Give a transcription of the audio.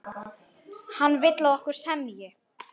Hann vill, að okkur semji.